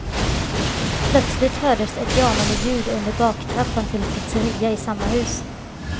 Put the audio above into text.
Plötsligt hördes ett jamande ljud under baktrappan till pizzeria i samma hus.